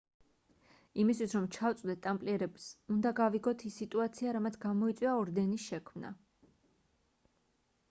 იმისთვის რომ ჩავწვდეთ ტამპლიერებს უნდა გავიგოთ ის სიტუაცია რამაც გამოიწვია ორდენის შექმნა